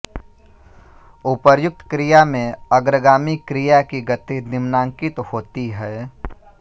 उपर्युक्त क्रिया में अग्रगामी क्रिया की गति निम्नांकित होती है